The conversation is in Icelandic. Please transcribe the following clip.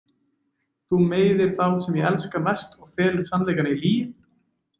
Þú meiðir þá sem ég elska mest og felur sannleikann í lygi.